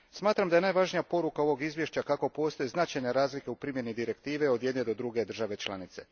Smatram da je najvažnija poruka ovog izvješća da postoje značajne razlike u primjeni Direktive od jedne do druge države članice.